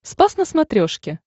спас на смотрешке